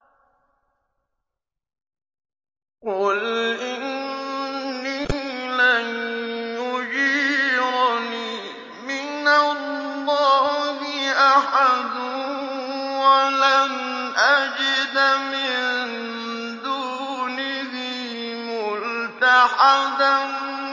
قُلْ إِنِّي لَن يُجِيرَنِي مِنَ اللَّهِ أَحَدٌ وَلَنْ أَجِدَ مِن دُونِهِ مُلْتَحَدًا